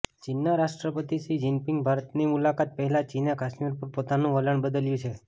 ચીનના રાષ્ટ્રપતિ Xi Jinping ભારતની મુલાકાત પહેલા ચીને કાશ્મીર પર પોતાનું વલણ બદલ્યું છે